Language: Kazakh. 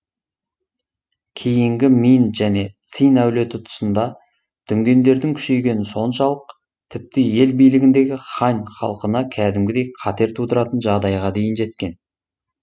кейінгі мин және цинь әулеті тұсында дүнгендердің күшейгені соншалық тіпті ел билігіндегі хань халқына кәдімгідей қатер тудыратын жағдайға дейін жеткен